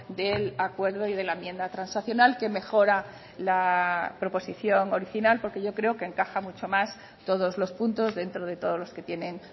del acuerdo y de la enmienda transaccional que mejora la proposición original porque yo creo que encaja mucho más todos los puntos dentro de todos los que tienen